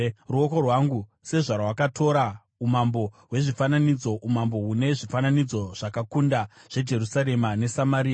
Ruoko rwangu sezvarwakatora umambo hwezvifananidzo, umambo hune zvifananidzo zvakakunda zveJerusarema neSamaria,